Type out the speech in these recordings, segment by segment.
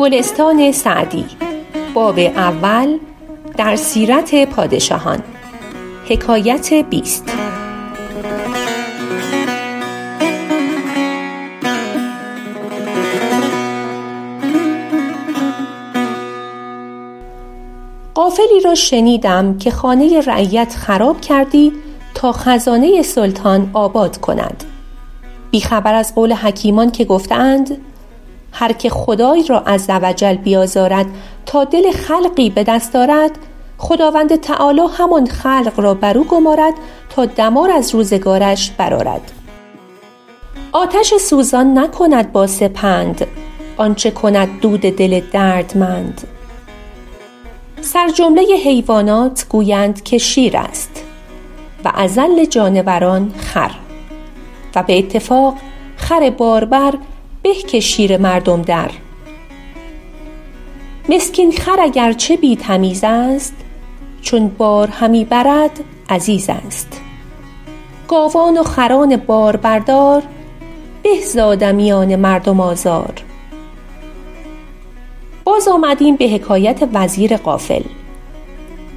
غافلی را شنیدم که خانه رعیت خراب کردی تا خزانه سلطان آباد کند بی خبر از قول حکیمان که گفته اند هرکه خدای را -عزوجل- بیازارد تا دل خلقی به دست آرد خداوند تعالیٰ همان خلق را بر او گمارد تا دمار از روزگارش برآرد آتش سوزان نکند با سپند آنچه کند دود دل دردمند سرجمله حیوانات گویند که شیر است و اذل جانوران خر و به اتفاق خر باربر به که شیر مردم در مسکین خر اگر چه بی تمیز است چون بار همی برد عزیز است گاوان و خران باربردار به ز آدمیان مردم آزار باز آمدیم به حکایت وزیر غافل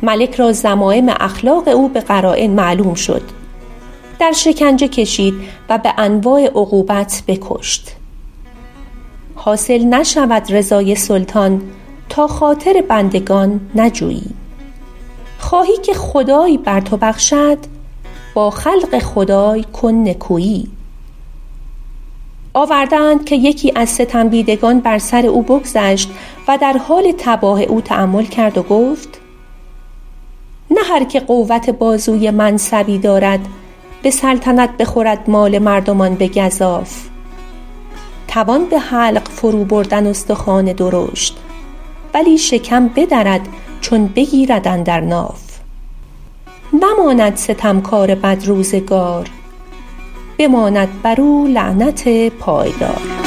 ملک را ذمایم اخلاق او به قراین معلوم شد در شکنجه کشید و به انواع عقوبت بکشت حاصل نشود رضای سلطان تا خاطر بندگان نجویی خواهی که خدای بر تو بخشد با خلق خدای کن نکویی آورده اند که یکی از ستم دیدگان بر سر او بگذشت و در حال تباه او تأمل کرد و گفت نه هرکه قوت بازوی منصبی دارد به سلطنت بخورد مال مردمان به گزاف توان به حلق فرو بردن استخوان درشت ولی شکم بدرد چون بگیرد اندر ناف نماند ستم کار بدروزگار بماند بر او لعنت پایدار